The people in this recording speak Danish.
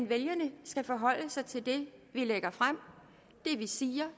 vælgerne skal forholde sig til det vi lægger frem det vi siger